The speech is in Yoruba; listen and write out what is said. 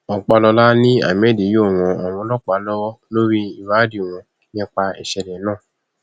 ọpàlọla ni ahmed yóò ran àwọn ọlọpàá lọwọ lórí ìwádìí wọn nípa ìṣẹlẹ náà